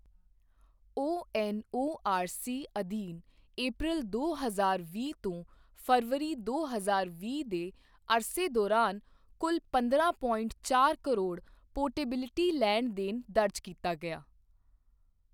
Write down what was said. ONORC ਅਧੀਨ ਅਪ੍ਰੈਲ ਦੋ ਹਜ਼ਾਰ ਵੀਹ ਤੋਂ ਫਰਵਰੀ, ਦੋ ਹਜ਼ਾਰ ਵੀਹ ਦੇ ਅਰਸੇ ਦੌਰਾਨ ਕੁਲ ਪੰਦਰਾਂ ਪੋਇੰਟ ਚਾਰ ਕਰੋੜ ਪੋਰਟੇਬਿਲਟੀ ਲੈਣ ਦੇਣ ਦਰਜ ਕੀਤਾ ਗਿਆ।